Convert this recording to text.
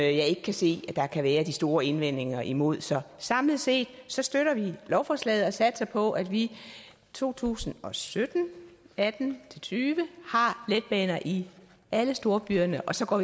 ikke kan se der kan være de store indvendinger imod så samlet set støtter vi lovforslaget og satser på at vi i to tusind og sytten og atten til tyve har letbaner i alle storbyerne og så går